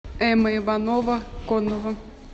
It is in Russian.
эмма иванова конова